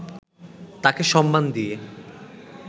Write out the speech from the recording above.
তাকে সম্মান দিয়ে